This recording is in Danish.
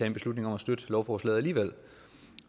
en beslutning om at støtte lovforslaget alligevel